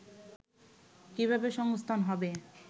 কিভাবে সংস্থান হবে